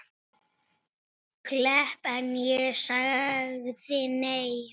Klepp en ég sagði nei.